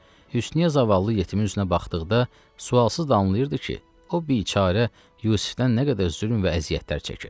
Hüsnüyə zavallı yetimin üzünə baxdıqda sualsız da anlayırdı ki, o biçarə Yusifdən nə qədər zülm və əziyyətlər çəkir.